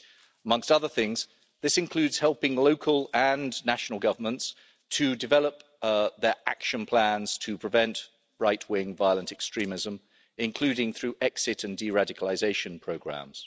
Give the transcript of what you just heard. Among other things, this includes helping local and national governments to develop their action plans to prevent right-wing violent extremism, including through exit and de radicalisation programmes.